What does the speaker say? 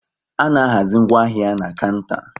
A na-ahazi ngwaahia na kanta